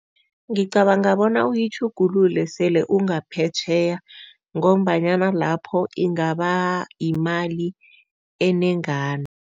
Ngicabanga bona uyitjhugululele sele ungaphetjheya ngombanyana lapho ingaba yimali enengana.